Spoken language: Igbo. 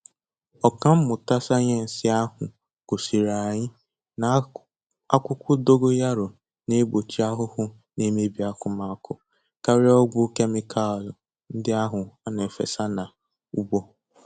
Ọka mmụta sayensị ahụ gosiri anyị na akwụkwọ dogoyaro na egbochi ahụhụ na-emebi akụmakụ karia ọgwụ kemịkalụ ndị ahụ a na-efesa na ugbo